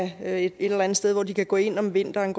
have et eller andet sted hvor de kan gå ind om vinteren